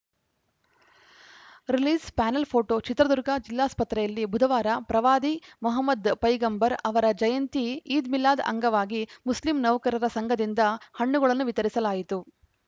release panel photo Chitradurga ಜಿಲ್ಲಾಸ್ಪತ್ರೆಯಲ್ಲಿ ಬುಧವಾರ ಪ್ರವಾದಿ ಮಹಮದ್‌ ಪೈಗಂಬರ್‌ ಅವರ ಜಯಂತಿ ಈದ್‌ಮಿಲಾದ್‌ ಅಂಗವಾಗಿ ಮುಸ್ಲಿಂ ನೌಕರರ ಸಂಘದಿಂದ ಹಣ್ಣುಗಳನ್ನು ವಿತರಿಸಲಾಯಿತು